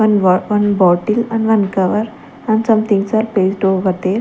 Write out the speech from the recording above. one one botil and one cover and some things are placed over there.